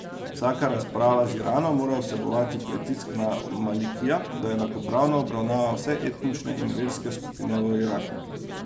Vsaka razprava z Iranom mora vsebovati pritisk na Malikija, da enakopravno obravnava vse etnične in verske skupine v Iraku.